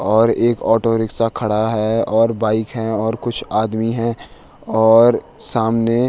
और एक auto rickshaw खड़ा है और बाइक है और कुछ आदमी हैं और सामने --